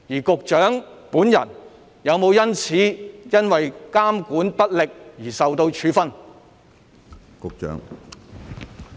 局長本人有否基於監管不力而受到處分？